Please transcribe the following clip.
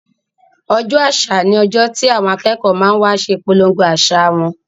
Ọjọ́ àṣà ni ọjọ́ tí àwọn akẹ́kọ̀ọ́ ma wa ṣe ìpolongo àṣà wọn